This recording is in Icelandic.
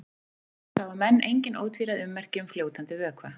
Aftur á móti sáu menn engin ótvíræð ummerki um fljótandi vökva.